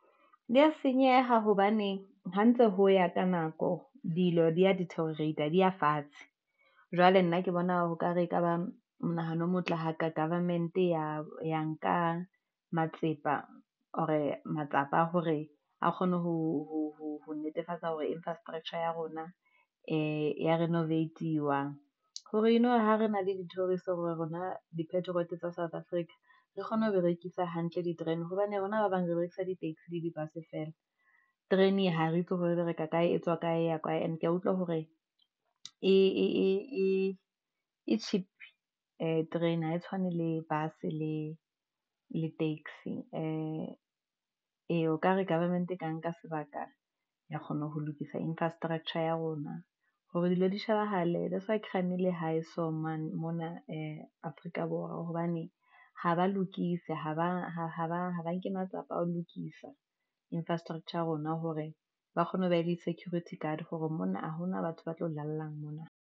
Di ya senyeha, hobane ho ntse ho ya ka nako dilo di ya deteriorate-ta di ya fatshe, jwale nna ke bona ho kare ekaba monahano o motle ha ka government ya ya nka matsepa or-e matsapa a hore a kgone ho netefatsa hore infrastructure ya rona ya renovate-iwa. Hore eno hore ha re na le dithoriso hore rona di patriot tsa South Africa re kgone ho berekisa hantle di terene hobane rona ba bang berekisa dit-axi le di-dus e feela terene ha re itse hore e bereka kae e tswa kae ya kae. Ene kea utlwa hore e cheap terene ha e tshwane le bus le le taxi e ee, okare government e kang ka sebaka ya kgona ho lokisa infrastructure ya rona hore dilo di shebahale that's why mona Afrika Borwa. Hobane ha ba lokise, haba haba nke matsapa a ho lokisa infrastructure ya rona hore ba kgone ho ba le di-security guard hore mona ha hona batho ba tlo lalala mona.